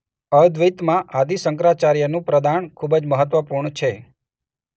અદ્વૈતમાં આદિ શંકરાચાર્યનું પ્રદાન ખૂબ જ મહત્વપૂર્ણ છે.